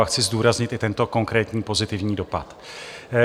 A chci zdůraznit i tento konkrétní pozitivní dopad.